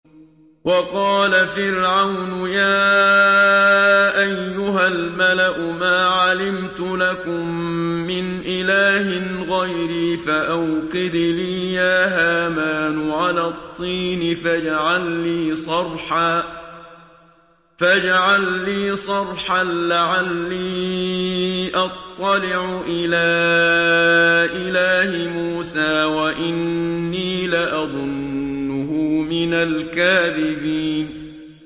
وَقَالَ فِرْعَوْنُ يَا أَيُّهَا الْمَلَأُ مَا عَلِمْتُ لَكُم مِّنْ إِلَٰهٍ غَيْرِي فَأَوْقِدْ لِي يَا هَامَانُ عَلَى الطِّينِ فَاجْعَل لِّي صَرْحًا لَّعَلِّي أَطَّلِعُ إِلَىٰ إِلَٰهِ مُوسَىٰ وَإِنِّي لَأَظُنُّهُ مِنَ الْكَاذِبِينَ